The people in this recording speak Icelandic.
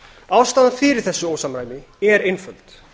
ástæðan fyrir þessu ósamræmi er einföld